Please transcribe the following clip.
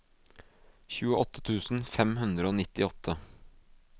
tjueåtte tusen fem hundre og nittiåtte